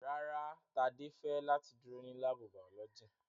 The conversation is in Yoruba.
Rárá, Tade fẹ lati duro ni laabu baolọgi